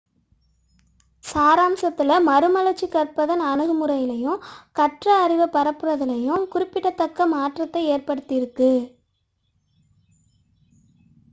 சாராம்சத்தில் மறுமலர்ச்சி கற்பதன் அணுகுமுறையிலும் கற்ற அறிவைப் பரப்புவதிலும் குறிப்பிடத்தக்க மாற்றத்தை ஏற்படுத்தியுள்ளது